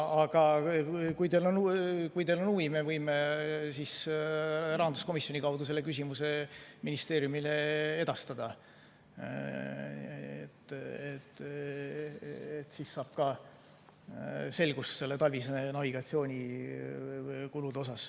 Aga kui teil on huvi, me võime rahanduskomisjoni kaudu selle küsimuse ministeeriumile edastada, siis saab ka selgust nende talvise navigatsiooni kulude osas.